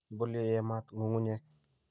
ibolu ye yamaat ng'ung'unyek